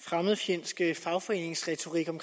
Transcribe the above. fremmedfjendske fagforeningsretorik om